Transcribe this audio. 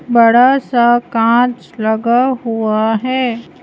बड़ा सा कांच लगा हुआ है।